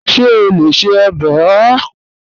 Ṣe o le ṣe ọbẹ oha?